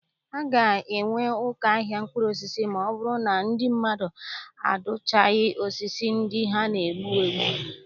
A ga-enwe ụkọ ahịa mkpụrụosisi ma ọ bụrụ na ndị mmadụ adụchighị osisi ndị ha na- egbu ugbua.